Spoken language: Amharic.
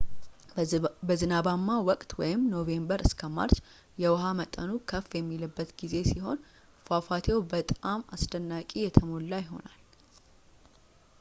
በዝናባማው ወቅትኖቬምበር እስከ ማርች የውሀ መጠኑ ከፍ የሚልበት ጊዜ ሲሆን ፏፋቴው በጣም አስደናቂ የተሞላ ይሆናል